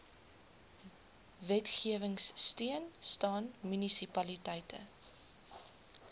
wetgewingsteun staan munisipaliteite